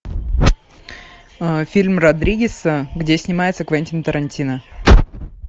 фильм родригеса где снимается квентин тарантино